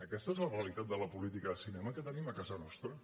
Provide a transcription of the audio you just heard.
aquesta és la realitat de la política de cinema que tenim a casa nostra